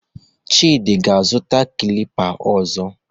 Chidi ga-azụta klipa ọzọ.